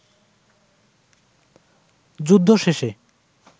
যুদ্ধ শেষে